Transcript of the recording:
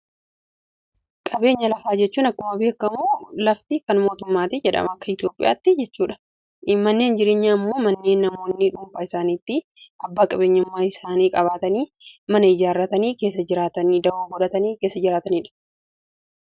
Qabeenya lafaa jechuun akkuma beekamuu lafti kan mootummaati jedhama akka Itoophiyaatti jechuudha manneen jireenya ammoo mannee namoonni dhuupaa isaaniitti abbaa qabeenyumaa isaanii qabaatanii mana ijaarratanii keessa jiraataniidha.